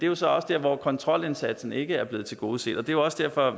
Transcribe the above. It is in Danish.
jo så også der hvor kontrolindsatsen ikke er blevet tilgodeset det er også derfor